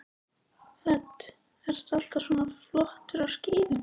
Hödd: Ertu alltaf svona flottur á skíðum?